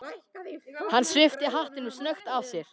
Hann svipti hattinum snöggt af sér.